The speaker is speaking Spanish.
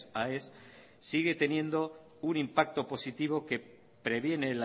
aes sigue teniendo un impacto positivo que previene